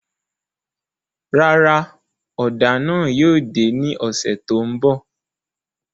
Rárá, ọ́da náà yóò de ni ọsẹ to nbọ